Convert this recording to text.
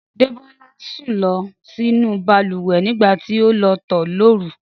Débọ́lá sùn lọ sínú balùwẹ̀ nígbà tí ó lọ tọ̀ lóru